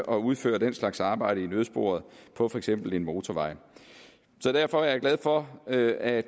og udføre den slags arbejde i nødsporet på for eksempel en motorvej derfor er jeg glad for at at